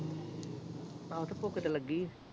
ਆਹੋ ਤੇ ਭੁੱਖ ਤੇ ਲੱਗੀ ਏ